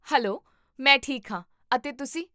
Hello, ਮੈਂ ਠੀਕ ਹੋ, ਅਤੇ ਤੁਸੀਂ?